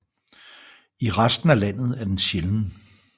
I resten af landet er den sjælden